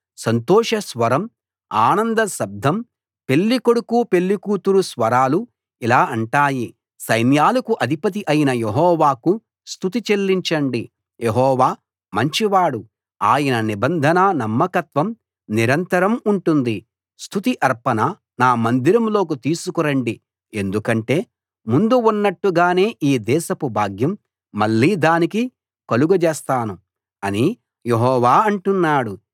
సంతోష స్వరం ఆనంద శబ్దం పెళ్ళికొడుకు పెళ్ళికూతురు స్వరాలు ఇలా అంటాయి సైన్యాలకు అధిపతి అయిన యెహోవాకు స్తుతి చెల్లించండి యెహోవా మంచివాడు ఆయన నిబంధనా నమ్మకత్వం నిరంతరం ఉంటుంది స్తుతి అర్పణ నా మందిరంలోకి తీసుకు రండి ఎందుకంటే ముందు ఉన్నట్టుగానే ఈ దేశపు భాగ్యం మళ్ళీ దానికి కలుగజేస్తాను అని యెహోవా అంటున్నాడు